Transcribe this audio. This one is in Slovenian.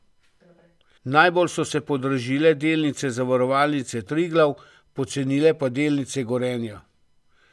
Najbolj so se podražile delnice Zavarovalnice Triglav, pocenile pa delnice Gorenja.